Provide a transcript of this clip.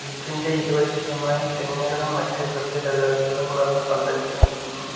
Beach ഇൻ്റെ ഇരുവശത്തുമായി തെങ്ങുകളും മറ്റ് സസ്യലതാധികളും വളർന്ന് പന്തലിച്ച് നിൽക്കുന്നു.